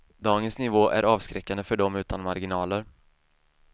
Dagens nivå är avskräckande för dem utan marginaler.